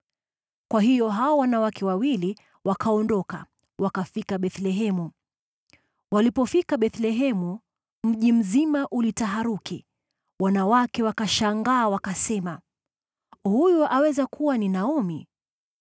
Kwa hiyo hao wanawake wawili wakaondoka, wakafika Bethlehemu. Walipofika Bethlehemu, mji mzima ulitaharuki, wanawake wakashangaa, wakasema, “Huyu aweza kuwa ni Naomi?”